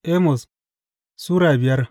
Amos Sura biyar